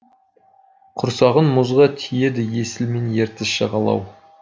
құрсағын мұзға тиеді есіл мен ертіс жағалау